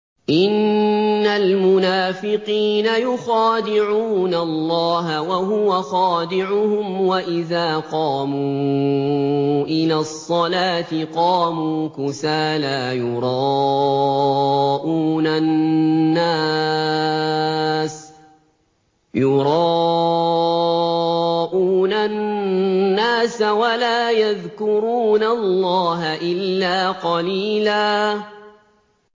إِنَّ الْمُنَافِقِينَ يُخَادِعُونَ اللَّهَ وَهُوَ خَادِعُهُمْ وَإِذَا قَامُوا إِلَى الصَّلَاةِ قَامُوا كُسَالَىٰ يُرَاءُونَ النَّاسَ وَلَا يَذْكُرُونَ اللَّهَ إِلَّا قَلِيلًا